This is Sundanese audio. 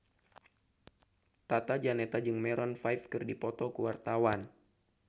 Tata Janeta jeung Maroon 5 keur dipoto ku wartawan